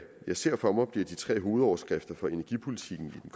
jeg ser for mig bliver de tre hovedoverskrifter for energipolitikken i